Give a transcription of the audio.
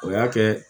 O y'a kɛ